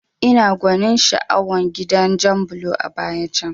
Ina gwanin sha'awar gidan jan bulo a baya can